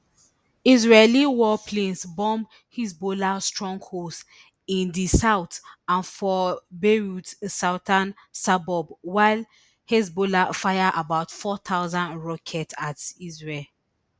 israeli warplanes bomb hezbollah strongholds in di south and for beirut southern suburbs while hezbollah fire about four thousand rockets at israel